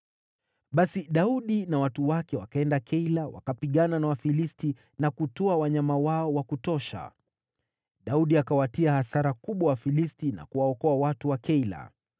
Basi Daudi na watu wake wakaenda Keila, wakapigana na Wafilisti na kutwaa wanyama wao wa kutosha. Daudi akawatia hasara kubwa Wafilisti na kuwaokoa watu wa Keila.